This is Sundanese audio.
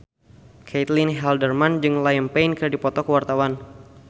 Caitlin Halderman jeung Liam Payne keur dipoto ku wartawan